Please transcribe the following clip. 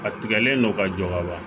A tigɛlen don ka jɔ ka ban